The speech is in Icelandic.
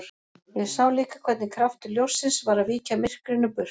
Og ég sá líka hvernig kraftur ljóssins var að víkja myrkrinu burt.